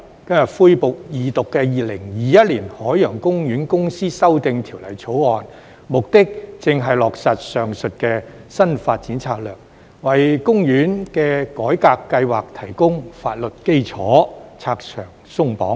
今日恢復二讀的《2021年海洋公園公司條例草案》，目的正是落實上述的新發展策略，為公園的改革計劃提供法律基礎，拆牆鬆綁。